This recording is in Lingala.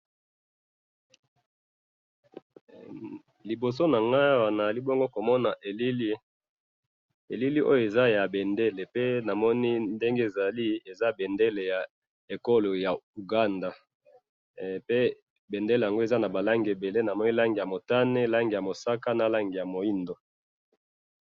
liboso nanga awa nazali bongo ko mona elili elili oyo eza ya bendele pe na moni ndenge ezali eza bendele ya ekolo ya uganda pe bendele nango eza naba langi ebele na moni langi ya motane ya mosaka pe na langi ya moido